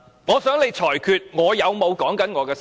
我想你裁決我有否談及我的修正案。